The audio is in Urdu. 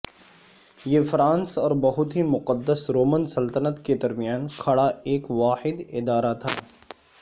یہ فرانس اور بہت ہی مقدس رومن سلطنت کے درمیان کھڑا ایک واحد ادارہ تھا